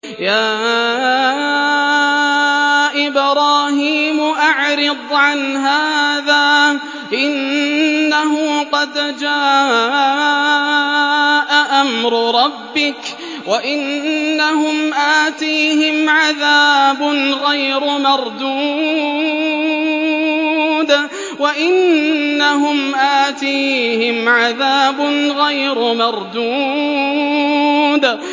يَا إِبْرَاهِيمُ أَعْرِضْ عَنْ هَٰذَا ۖ إِنَّهُ قَدْ جَاءَ أَمْرُ رَبِّكَ ۖ وَإِنَّهُمْ آتِيهِمْ عَذَابٌ غَيْرُ مَرْدُودٍ